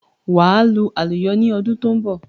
Wà à lu àlùyọ ni ọdún tó ń bọ̀.